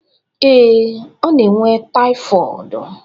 Ee,ọ na enwe taifọọd.